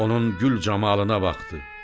Onun gül camalına baxdı.